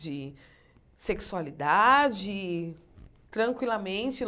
de sexualidade, tranquilamente.